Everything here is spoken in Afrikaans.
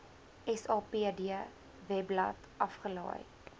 sapd webblad afgelaai